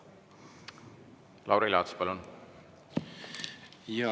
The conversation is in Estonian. Lauri Laats, palun!